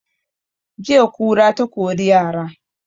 Jiya kura ta kori yara